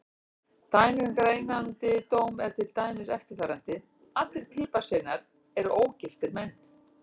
Dæmi um greinandi dóm er til dæmis eftirfarandi: Allir piparsveinar eru ógiftir karlmenn.